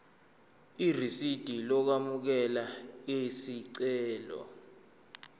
irisidi lokwamukela isicelo